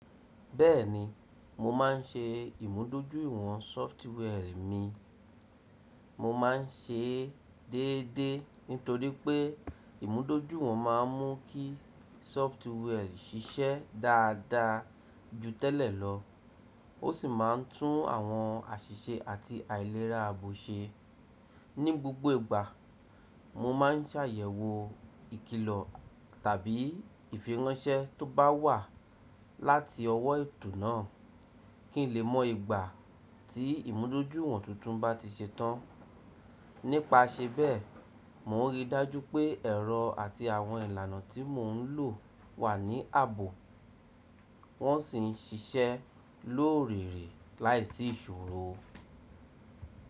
Bẹ́ẹ̀ni, mo máà ń ṣe ìmúdójúìwọ̀n sọftware mi. Mo máa ń ṣe é déédéé nítorí pé ìmúdójúìwọ̀n ma ń mú kí software ṣiṣẹ́ dáadáa ju tẹ́lẹ̀ lọ, ó sì máa ń tún àwọn àṣìṣe àti àìlera ààbò ṣe. Ni gbogbo ìgbà, mo máa ń ṣàyẹ̀wò ìkilọ̀ tàbí ìfiránsẹ́ tó bá wà láti ọwọ́ ètò náà kí n lè mọ ìgbà tí ìmúdójúìwọ̀n tuntun bá ti ṣe tán. Nípasẹ bẹ́ẹ̀, mò ń rí i dájú pé ẹ̀rọ àti àwọn ìlànà tí mò ń lò wà ní ààbò, wọ́n sì ń ṣiṣẹ́ lóòrere láìsí ìṣòro.